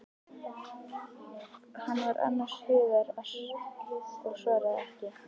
Hann var annars hugar og svaraði ekki.